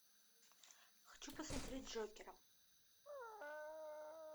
хочу посмотреть джокера